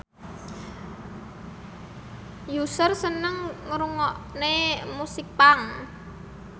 Usher seneng ngrungokne musik punk